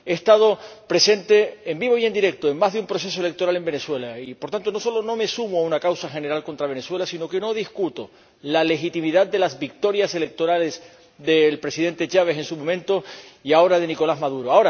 He estado presente en vivo y en directo en más de un proceso electoral en Venezuela y por tanto, no solo no me sumo a una causa general contra Venezuela, sino que no discuto la legitimidad de las victorias electorales del Presidente Chávez en su momento y ahora de Nicolás Maduro.